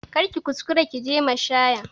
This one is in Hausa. Kar ki kuskura ki je mashaya